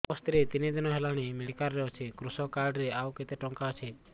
ମୋ ସ୍ତ୍ରୀ ତିନି ଦିନ ହେଲାଣି ମେଡିକାଲ ରେ ଅଛି କୃଷକ କାର୍ଡ ରେ ଆଉ କେତେ ଟଙ୍କା ଅଛି